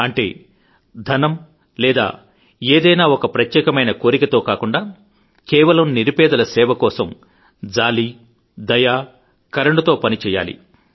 అంటే ధనము లేదా ఏదైనా ఒక ప్రత్యేకమైన కోరికతో కాకుండా కేవలం నిరుపేదల సేవ కోసం జాలి దయ కరుణతో పని చేయాలి